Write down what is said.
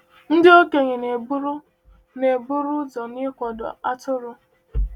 Ndị okenye na-eburu na-eburu ụzọ n’ịkwado atụrụ.